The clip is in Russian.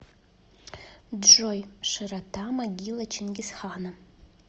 джой широта могила чингисхана